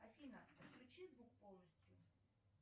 афина включи звук полностью